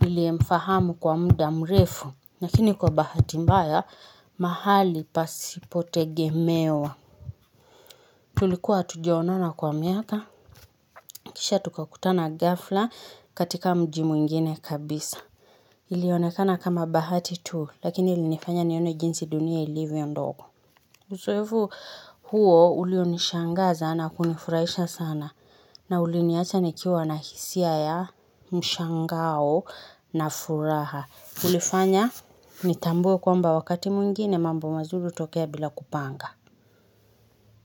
niliemfahamu kwa muda mrefu. Lakini kwa bahati mbaya mahali pasipo tegemewa. Tulikuwa hatujaonana kwa miaka. Kisha tukakutana ghafla katika mji mwingine kabisa. Ilionekana kama bahati tu lakini ilinifanya nione jinsi dunia ilivyo ndogo. Uzoefu huo ulionishangaza na kunifurahisha sana na uliniacha nikiwa na hisia ya mshangao na furaha. Ulifanya nitambue kwamba wakati mwingine mambo mazuri hutokea bila kupanga.